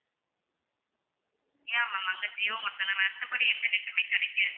yeah ma'am அங்க ஜியோ மட்டும் தான் மத்தபடி எந்த net உமே கிடைக்காது